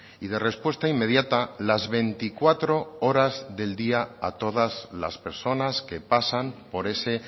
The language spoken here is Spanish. y de respuesta inmediata las veinticuatro horas del día a todas las personas que pasan por ese